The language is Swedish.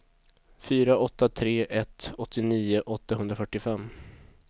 fyra åtta tre ett åttionio åttahundrafyrtiofem